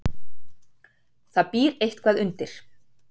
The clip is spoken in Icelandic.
Það býr eitthvað undir.